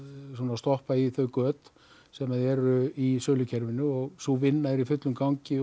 stoppa í þau göt sem eru í sölukerfinu og sú vinna er í fullum gangi